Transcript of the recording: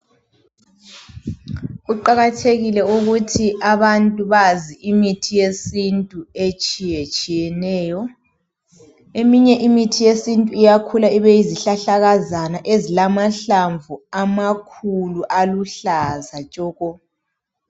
Kuqakathekile ukuthi abantu bazi imithi yesintu etshiyetshiyeneyo eminye imithi yesintu iyakhula ibe yi zihlahlakazana ezilamahlamvu amakhulu aluhlaza tshoko